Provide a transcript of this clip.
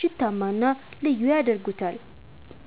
ሽታማ እና ልዩ ያደርጉታል።